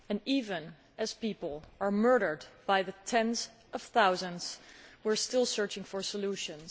Even as people are murdered by tens of thousands, we are still searching for solutions.